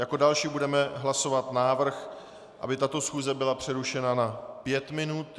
Jako další budeme hlasovat návrh, aby tato schůze byla přerušena na 5 minut.